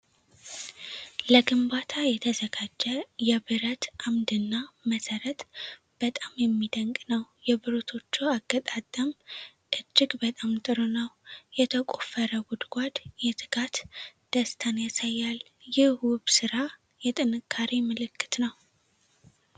ለግንባታ የተዘጋጀ የብረት ዐምድና መሠረት በጣም የሚደንቅ ነው። የብረቶቹ አገጣጠም እጅግ በጣም ጥሩ ነው። የተቆፈረው ጉድጓድ የትጋት ደስታን ያሳያል። ይህ ውብ ሥራ የጥንካሬ ምልክት ነው።